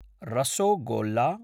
rosogolla